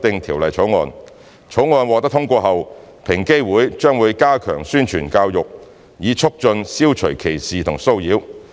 《條例草案》獲通過後，平機會將加強宣傳和教育，以促進消除歧視和騷擾。